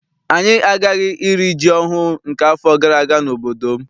Anyị agaghị iri ji ọhụụ nke afọ gara aga n'obodo m.